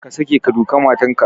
Kar ka sake ka duka matar ka!